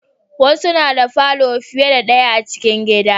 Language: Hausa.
Wasu na da falo fiye da daya a cikin gida